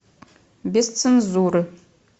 без цензуры